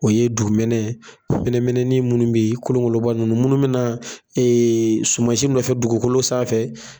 O ye dugumɛnɛ mɛnɛmɛnɛnin minnu bɛ yen kolonkolonba ninnu munnu mi na sumasi nɔfɛ dugukolo sanfɛ.